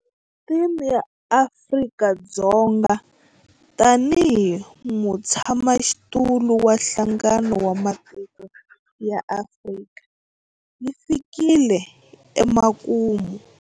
Theme ya Afrika-Dzonga tanihi mutshamaxitulu wa Nhlangano wa Matiko ya Afrika yi fikile emakumu.